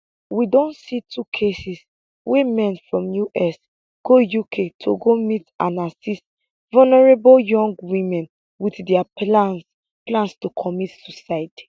we don see two cases wia men from us go uk to go meet and assist vulnerable young women wit dia plans plans to commit suicide